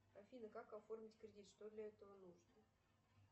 афина как оформить кредит что для этого нужно